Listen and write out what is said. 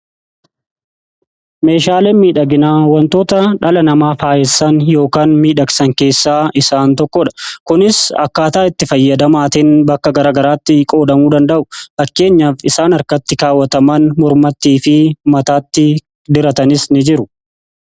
Meeshaaleen miidhaginaa wantoota dhala namaa faayyissan yookaan miidhagsan keessaa isaan tokkodha. Kunis akkaataa itti fayyadamaatiin bakka garagaraatti qoodamuu danda'u. Fakkeenyaaf isaan harkatti kaawwataman, mormatii fi mataatti diratanis ni jiru.